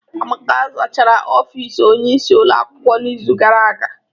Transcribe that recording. Amaka zachara ofis Onye isi ụlọ akwụkwọ n'izu gara aga.